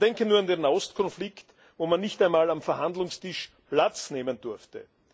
Man denke nur an den Nahostkonflikt, wo man nicht einmal am Verhandlungstisch Platz nehmen durfte.